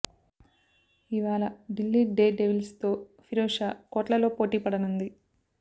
ఇవాళ Delhi Daredevils తో ఫిరోజ్ షా కోట్లలో పోటీపడనుంది